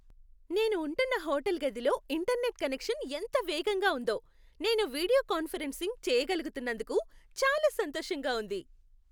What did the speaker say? నేను ఉంటున్న హోటల్ గదిలో ఇంటర్నెట్ కనెక్షన్ ఎంత వేగంగా ఉందొ! నేను వీడియో కాన్ఫరెన్సింగ్ చేయగలుగుతున్నందుకు చాలా సంతోషంగా ఉంది.